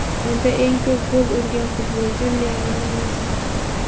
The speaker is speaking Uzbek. Unda eng ko‘p gol urgan futbolchi Lionel Messi.